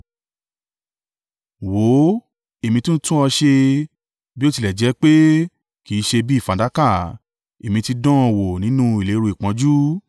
Wò ó, èmi ti tún ọ ṣe, bí ó tilẹ̀ jẹ́ pé kì í ṣe bí i fàdákà; Èmi ti dán ọ wò nínú ìléru ìpọ́njú.